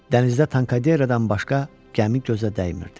Dənizdə Tankaderedən başqa gəmi gözə dəymirdi.